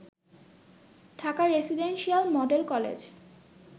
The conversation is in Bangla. Dhaka residential model college